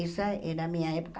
Essa era a minha época.